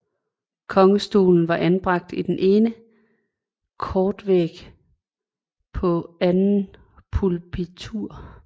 Kongestolen var anbragt på den ene kortvæg på andet pulpitur